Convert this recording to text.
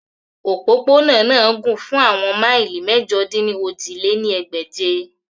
Opopona naa na gun fun awọn maili Mẹ̀jọ-dín-ní-ojì lé ní ẹgbẹ́je.